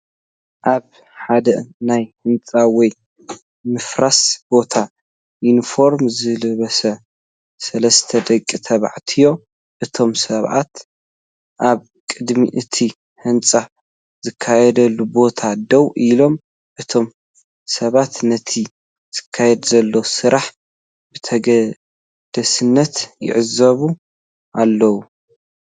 ኣብ ሓደ ናይ ህንጻ ወይ ምፍራስ ቦታ ዩኒፎርም ዝለበሱ ሰለስተ ደቂ ተባዕትዮ። እቶም ሰብኡት ኣብ ቅድሚ እቲ ህንጸት ዝካየደሉ ቦታ ደው ኢሎም፡ እቶም ሰብኡት ነቲ ዝካየድ ዘሎ ስራሕ ብተገዳስነት ይዕዘብዎ ኣለዉ።